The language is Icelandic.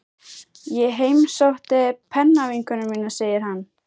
Ég heimsótti pennavinkonu mína, segir hann.